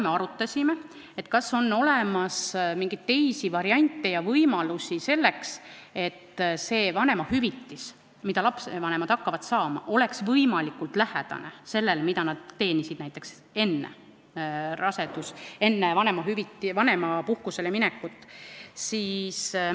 Me arutasime, kas on olemas mingeid teisi variante ja võimalusi selleks, et vanemahüvitis, mida lastevanemad hakkavad saama, oleks võimalikult lähedane sellele summale, mida nad teenisid enne vanemapuhkusele minekut.